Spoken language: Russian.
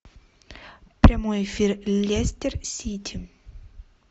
прямой эфир лестер сити